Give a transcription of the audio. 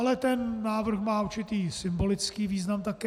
Ale ten návrh má určitý symbolický význam také.